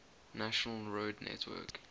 national road network